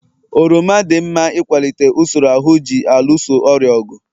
oroma dị mma n'ịkwalite usoro ahụ ji alụso ọrịa ọgụ